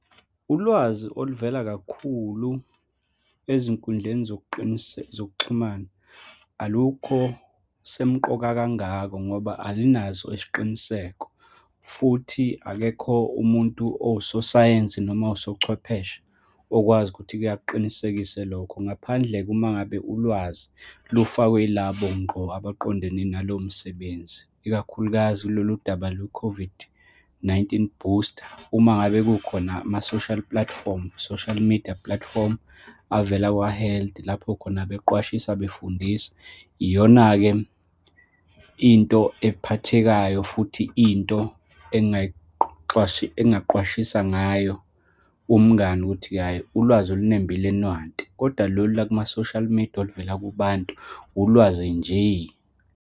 Ulwazi oluvela kakhulu ezinkundleni zokuxhumana, alukho semqoka kangako ngoba alinaso isiqiniseko, futhi akekho umuntu owusosayensi noma owusochwepheshe okwazi ukuthi-ke akuqinisekise lokho. Ngaphandle-ke uma ngabe ulwazi lufakwe yilabo ngqo abaqondene nalowo msebenzi, ikakhulukazi loludaba lwe-COVID-19 booster. Uma ngabe kukhona ama-social platform, social media platform, avela kwa-health, lapho khona beqwashisa, befundisa. Iyona-ke into ephathekayo futhi into engaqwashisa ngayo umngani ukuthi, hhayi, ulwazi olunembile nantu. Kodwa lolu lwama-social media, oluvela kubantu, ulwazi nje.